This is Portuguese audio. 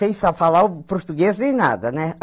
Sem saber falar o português nem nada, né?